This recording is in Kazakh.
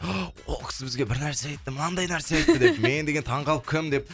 ол кісі бізге бірнәрсе айтты мынандай нәрсе айтты деп мен деген таң қалып кім деп